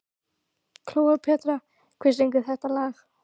Kleópatra, hver syngur þetta lag?